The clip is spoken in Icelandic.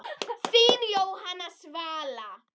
Þín Jóhanna Svala.